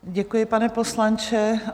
Děkuji, pane poslanče.